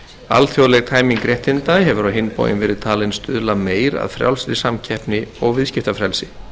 alþjóðleg tæming réttinda hefur á hinn bóginn verið talin stuðla meir að frjálsri samkeppni og viðskiptafrelsi